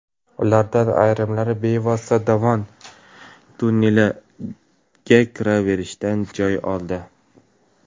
Ulardan ayrimlari bevosita dovon tonneliga kiraverishdan joy oldi.